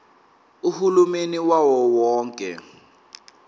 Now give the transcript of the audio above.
uhulumeni wawo wonke